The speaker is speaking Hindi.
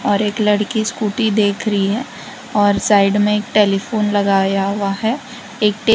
और एक लड़की स्कूटी देख रही है और साइड में एक टेलीफोन लगाया हुआ है एक टे--